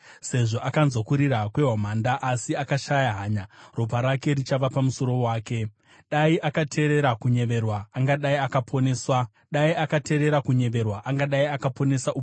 Sezvo akanzwa kurira kwehwamanda asi akashaya hanya, ropa rake richava pamusoro wake. Dai akateerera kunyeverwa, angadai akaponesa upenyu hwake.